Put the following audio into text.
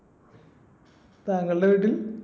താങ്കളുടെ വീട്ടിൽ